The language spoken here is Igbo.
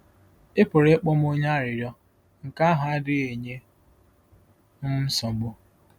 “Ị pụrụ ịkpọ m onye arịrịọ; nke ahụ adịghị enye m nsogbu.